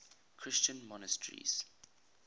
christian monasteries